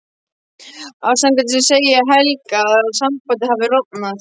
Afsakandi segi ég Helga að sambandið hafi rofnað.